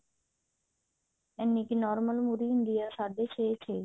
ਇੰਨੀ ਕੁ normal ਮੁਢ਼ ਹੁੰਦੀ ਹੈ ਛੇ ਸਾਢੇ ਛੇ